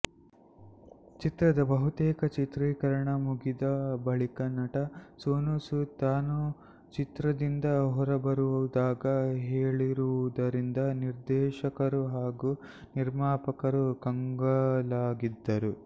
ಚಿತ್ರದ ಬಹುತೇಕ ಚಿತ್ರೀಕರಣ ಮುಗಿದ ಬಳಿಕ ನಟ ಸೋನುಸೂದ್ ತಾನು ಚಿತ್ರದಿಂದ ಹೊರಬರುವುದಾಗಿ ಹೇಳಿರುವುದರಿಂದ ನಿರ್ದೇಶಕರು ಹಾಗೂ ನಿರ್ಮಾಪಕರು ಕಂಗಲಾಗಿದ್ದಾರೆ